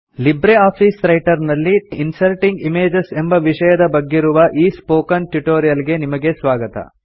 Libre Office Calc ನಲ್ಲಿ inserting images ಎಂಬ ವಿಷಯದ ಬಗ್ಗಿರುವ ಈ ಸ್ಪೋಕನ್ ಟ್ಯುಟೋರಿಲ್ ಗೆ ನಿಮಗೆ ಸ್ವಾಗತ